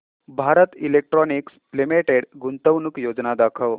Bharat Electronics Limited गुंतवणूक योजना दाखव